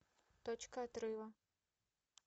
точка отрыва